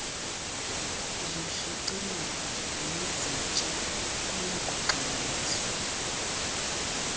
zoshicilelo nezintsha kuyakugxininiswa